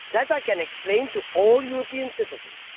That I can explain to all European citizens.